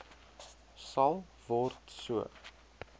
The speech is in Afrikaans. sal word so